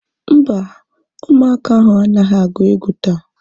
Mba, ụmụaka ahu anaghị agu egwu taa